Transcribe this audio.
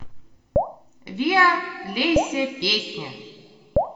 виа лейся песня